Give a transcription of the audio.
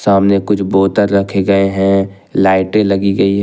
सामने कुछ बोतल रखे गए है लाइटें लगी गई हैं।